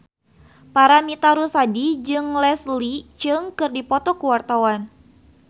Paramitha Rusady jeung Leslie Cheung keur dipoto ku wartawan